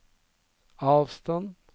avstand